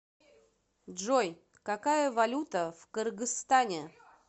джой какая валюта в кыргызстане